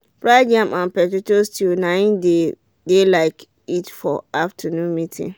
fried yam and tomato stew nai they de like eat for afternoon meeting